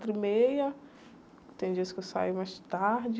e meia. Tem dias que eu saio mais tarde.